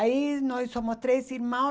Aí nós somos três irmão